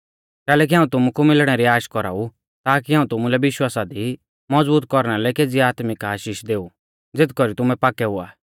कैलैकि हाऊं तुमु कु मिलणै री आश कौराऊ ताकि हाऊं तुमुलै विश्वासा दी मज़बूत कौरना लै केज़ी आत्मिक आशीष देऊ ज़ेथ कौरी तुमै पाक्कै हुआ